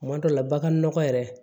Kuma dɔ la bagan nɔgɔ yɛrɛ